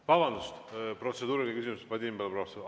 Vabandust, protseduuriline küsimus, Vadim Belobrovtsev!